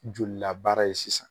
Jo labaara ye sisan